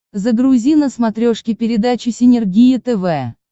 загрузи на смотрешке передачу синергия тв